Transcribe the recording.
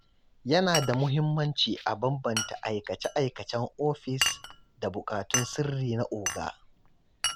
Yana da muhimmanci a bambanta aikace-aikacen ofis da bukatun sirri na “oga.”